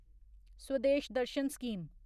Swadesh Darshan scheme